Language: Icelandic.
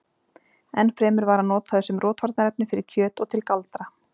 Enn fremur var hann notaður sem rotvarnarefni fyrir kjöt og til galdra.